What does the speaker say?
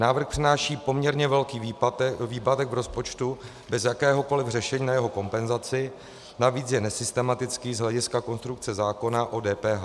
Návrh přináší poměrně velký výpadek v rozpočtu bez jakéhokoli řešení na jeho kompenzaci, navíc je nesystematický z hlediska konstrukce zákona o DPH.